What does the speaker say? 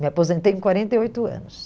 Me aposentei com quarenta e oito anos.